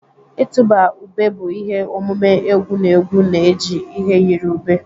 Ịtụba ube bụ ihe omume egwu na egwu na-eji ihe yiri ube.